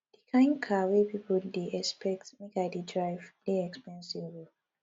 di kain car wey pipo dey expect make i dey drive dey expensive o